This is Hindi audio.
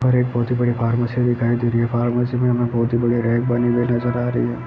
हरे पौधे पहाड़ियों से दिखाई दे रहे हैं पहाड़ो से पौधे वैगरह है पानी में नजर आ रहे हैं।